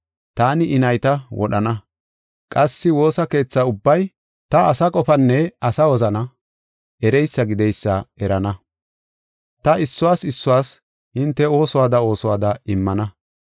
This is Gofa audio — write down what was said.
Taani I nayta wodhana; qassi woosa keetha ubbay ta asa qofanne asa wozana ereysa gideysa erana. Ta issuwas issuwas hinte oosuwada oosuwada immana.”